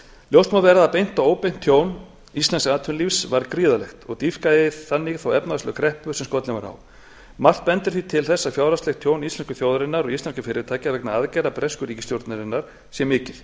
ljóst má vera að beint og óbeint tjón íslensks atvinnulífs varð gríðarlegt og dýpkaði þannig þá efnahagslegu kreppu sem skollin var á margt bendir því til þess að fjárhagslegt tjón íslensku þjóðarinnar og íslenskra fyrirtækja vegna aðgerða bresku ríkisstjórnarinnar sé mikið